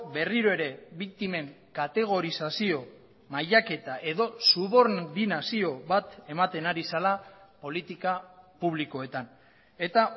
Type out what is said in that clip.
berriro ere biktimen kategorizazio mailaketa edo subordinazio bat ematen ari zela politika publikoetan eta